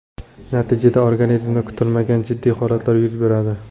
Natijada organizmda kutilmagan jiddiy holatlar yuz beradi.